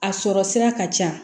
A sɔrɔ sira ka ca